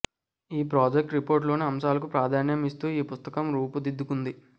ఈ project report లోని అంశాలకు ప్రాధాన్యం ఇస్తూ ఈ పుస్తకం రూపుదిద్దుకుంది